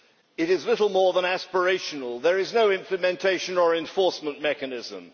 It is little more than aspirational there is no implementation or enforcement mechanism.